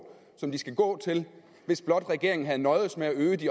som de skal gå til hvis blot regeringen havde nøjedes med at øge det